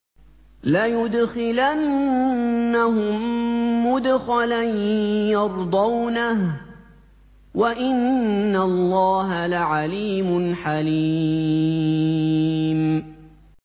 لَيُدْخِلَنَّهُم مُّدْخَلًا يَرْضَوْنَهُ ۗ وَإِنَّ اللَّهَ لَعَلِيمٌ حَلِيمٌ